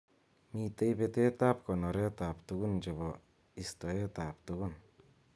Mitei betet ab konoret ab tugun chebo istoet ab tugun.